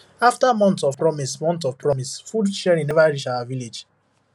after months of promise months of promise food sharing never reach our village